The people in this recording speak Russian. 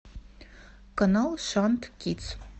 канал шант кидс